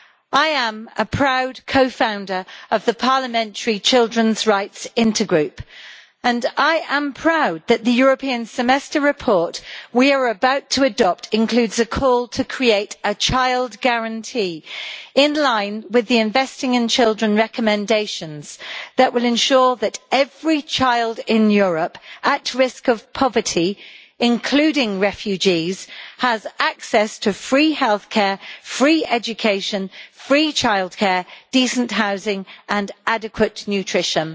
I am a proud co founder of the parliamentary Intergroup on Children's Rights and I am proud that the European Semester report we are about to adopt includes a call to create a child guarantee in line with the Investing in Children' recommendations that will ensure that every child in Europe at risk of poverty, including refugees, has access to free health care, free education, free childcare, decent housing and adequate nutrition.